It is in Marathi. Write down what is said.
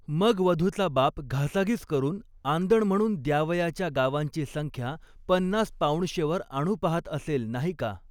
मग वधूचा बाप घासाघीस करुन, आंदण म्हणून द्यावयाच्या गावांची संख्या पन्नास पाऊणशेवर आणू पाहत असेल नाही का.